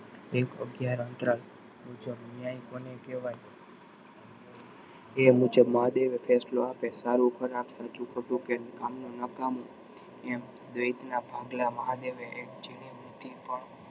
એક અકગયારન અંતરાલ મુજબ ન્યાય કોને કેવાય એ મુજબ મહાદેવ ફેંસલો આપે સારું ખરાબ સાચું ખોટું કે કામનું નકામું એમ દરેકના ભાગલા મહાદેવએ જીની મુઠી પણ